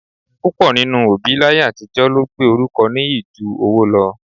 Púpọ̀ nínú òbí láyé àtijọ́ ló gbé orúkọ nìyí ju owó lọ